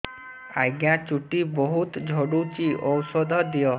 ଆଜ୍ଞା ଚୁଟି ବହୁତ୍ ଝଡୁଚି ଔଷଧ ଦିଅ